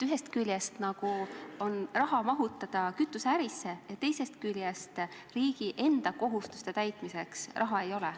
Ühest küljest on olemas raha, mida saab panna kütuseärisse, aga teisest küljest riigi enda kohustuste täitmiseks raha ei ole.